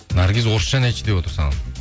наргиз орысша ән айтшы деп отыр саған